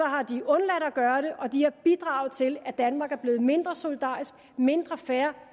har de undladt at gøre det og de har bidraget til at det i danmark er blevet mindre solidarisk mindre fair